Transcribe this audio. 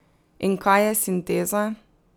In kaj je sinteza?